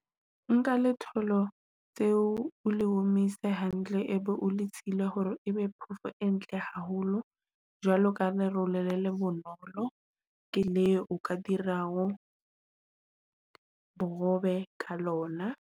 Nka letholo tseo o le omise hantle ebe o le sila hore ebe phoofo e ntle haholo jwalo ka lerole le le le bonolo. Ke le o ka dirago bohobe ka lona.